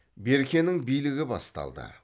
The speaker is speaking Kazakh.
беркенің билігі басталды